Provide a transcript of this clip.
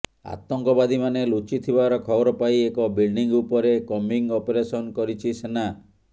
ଆତଙ୍କବାଦୀମାନେ ଲୁଚିଥିବାର ଖବର ପାଇଁ ଏକ ବିଲଡିଂ ଉପରେ କମ୍ବିଂ ଅପରେସନ କରିଛି ସେନା